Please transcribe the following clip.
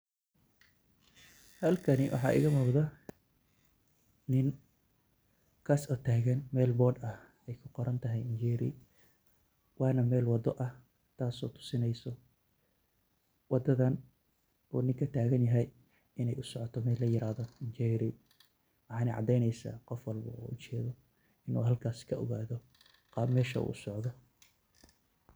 Halkaani waxaa iga muqdaa niin kaas oo tagaan mel board aah eey kuu qoraan tahay njeri wanaa mel wado aah. taaso tusineysoo wadaadan uu niinka tagaan yahay iney usocooto mel laa yiraahdo njeri. waxanaa cadeyneysa qof walboo oo ujeedo inu halkaas kaa ogaado qaab meesha uu socdoo.